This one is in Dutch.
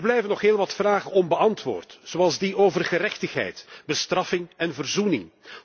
Er blijven nog heel wat vragen onbeantwoord, zoals die over gerechtigheid, bestraffing en verzoening.